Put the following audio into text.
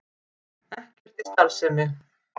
Ekkert í starfsemi